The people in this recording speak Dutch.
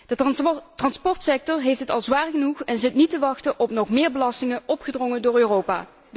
De transportsector heeft het al zwaar genoeg en zit niet te wachten op nog meer belastingen, opgedrongen door Europa.